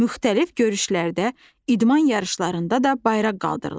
Müxtəlif görüşlərdə, idman yarışlarında da bayraq qaldırılır.